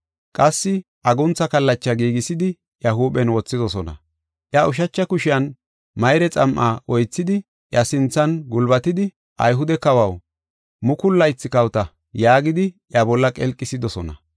Qassi aguntha kallacha giigisidi, iya huuphen wothidosona. Iya ushacha kushiyan mayre xam7a oythidi, iya sinthan gulbatidi, “Ayhude kawaw, mukulu laythi kawota!” yaagidi, iya bolla qelqisidosona.